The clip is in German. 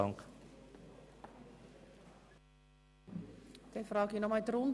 Ich frage noch einmal in die Runde.